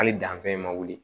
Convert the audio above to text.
Hali danfɛn ma wuli